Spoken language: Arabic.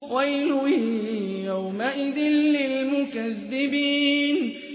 وَيْلٌ يَوْمَئِذٍ لِّلْمُكَذِّبِينَ